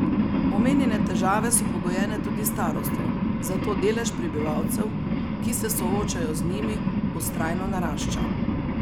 Omenjene težave so pogojene tudi s starostjo, zato delež prebivalcev, ki se soočajo z njimi, vztrajno narašča.